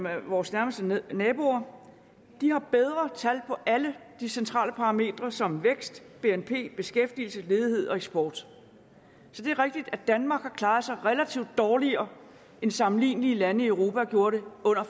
er vores nærmeste naboer de har bedre tal på alle centrale parametre som vækst bnp beskæftigelse ledighed og eksport så det er rigtigt at danmark har klaret sig relativt dårligere end sammenlignelige lande i europa gjorde det under